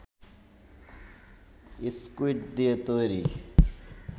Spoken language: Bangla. স্কুইড দিয়ে তৈরি